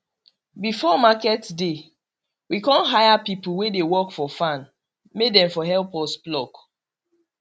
before market day we con hire people wey dey work for farm may dem for help us pluck